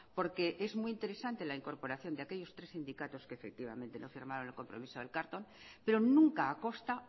porque es muy interesante la incorporación de aquellos tres sindicatos que efectivamente no firmaron el compromiso del carlton pero nunca a costa